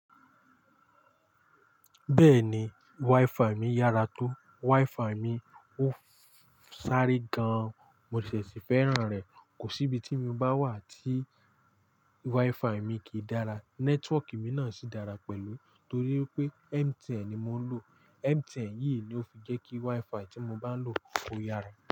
Bẹ́ẹ̀ni, WiFi mi yàrá tó. WiFi mi ó sáré gan-an, mo sì fẹ́ràn rẹ̀. Kò sí ibi tí mo bá wà tí WiFi mi kìí dára. Nẹ́tíwọ́ọ̀kì mi náà sì dára pẹ̀lú torí pé MTN ni mò ń lò. MTN yìí ló fi jẹ́ kí WiFi tí mo bá ń lò kó yára.